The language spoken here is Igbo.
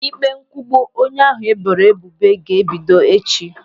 Ịkpe nkwugbu onye ahụ e boro ebubo ga-ebido echi.